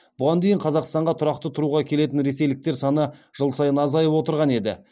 бұған дейін қазақстанға тұрақты тұруға келетін ресейліктер саны жыл сайын азайып отырған еді